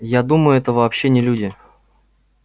я думаю это вообще не люди